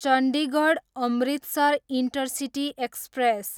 Chandigarh, Amritsar intercity express